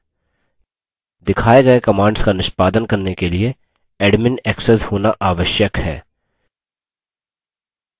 दिखाए गये commands का निष्पादन करने के लिए admin access होना आवश्यक है